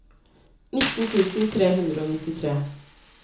nitten tusen tre hundre og nittitre